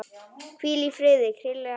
Hvíl í friði, Krilli afi.